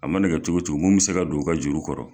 A mana kɛ cogo cogo mun bɛ se ka don u ka juru kɔrɔ.